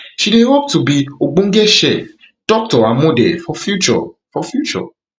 she dey hope to be ogbonge chef doctor and model for future for future